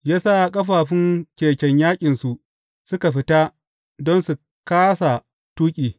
Ya sa ƙafafun keken yaƙinsu suka fita don su kāsa tuƙi.